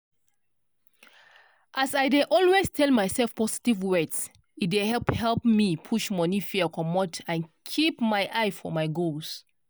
as i dey always tell myself positive words e dey help help me push money fear comot and keep my eye for my goals.